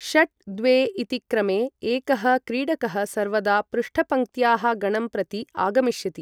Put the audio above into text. षट् द्वे इति क्रमे, एकः क्रीडकः सर्वदा पृष्ठपङ्क्त्याः गणं प्रति आगमिष्यति।